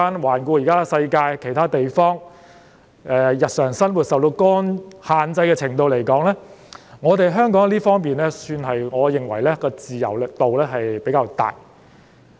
環顧現時世界其他地方，以市民日常生活受到限制的程度來說，我認為香港在這方面的自由度算是比較大。